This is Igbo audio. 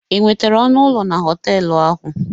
Ị nwetara ọnụ ụlọ na họtelụ ahụ?